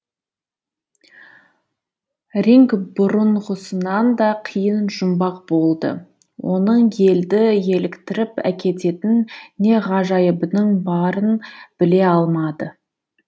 ринг бұрынғысынан да қиын жұмбақ болды оның елді еліктіріп әкететін не ғажайыбының барын біле алмады